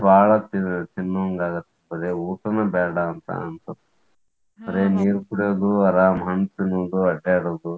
ಬಾಳ ತಿನ್ನುವಂಗ ಆಗತ್ತ್ ಬರೇ ಊಟನು ಬೇಡ ಅಂತ ಅನ್ಸತ್ತ್ ನೀರ್ ಕುಡಿಯುದು, ಆರಾಮ್ ಹಣ್ ತಿನ್ನುದು, ಅಡ್ಯಾಡುದು.